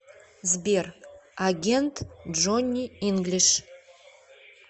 сбер агент джонни инглиш